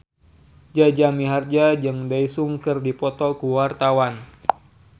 Jaja Mihardja jeung Daesung keur dipoto ku wartawan